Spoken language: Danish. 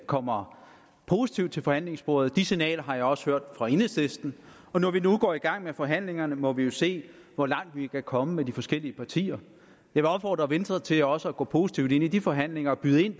kommer positivt til forhandlingsbordet det signal har jeg også hørt fra enhedslisten og når vi nu går i gang med forhandlingerne må vi jo se hvor langt vi kan komme med de forskellige partier jeg vil opfordre venstre til også at gå positivt ind i de forhandlinger og byde ind